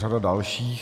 Řada dalších.